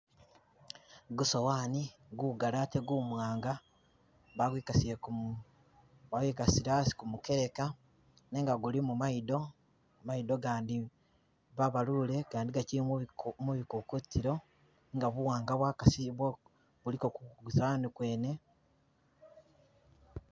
Gusowani gugali ate gumwanga bakwikasile ku wayikasile asi ku mukeka nenga gulimo mayido, mayido gandi babalule gandi gakyili mubi ko mubikokotilo nga buwanga bwakasi bwo buliko kusowani yene